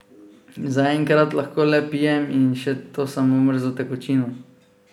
Zaenkrat lahko le pijem in še to samo mrzlo tekočino.